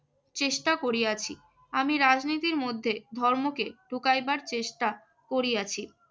চেষ্টা করিয়াছি। আমি রাজনীতির মধ্যে ধর্মকে ঢুকাইবার চেষ্টা করিয়াছি